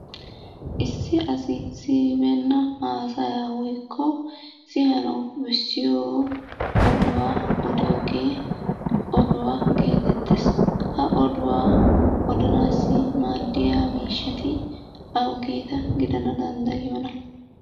Issi asi siyibeenna haasayaa woykko siyanawu bessiyo oduwa odiyogee oduwa geetettees. Ha oduwa odanaassi maaddiya miishshati awuugeeta gidanawu danddayiyonaa?